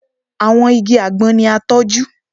Àwọn igi àgbọn ni a tọ́jú